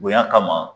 Bonya kama